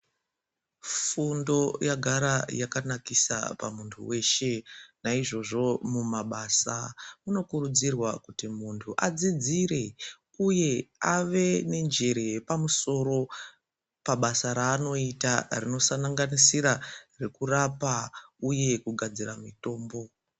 Fundo yagara yakanakisa pamuntu weshe naizvozvo mumabasa munokurudzirwa kuti munhu adzidzire uye ave nenjere yepamusoro pabasa raanoita rinosanganisira rekurapa uye kugadzira mitombo.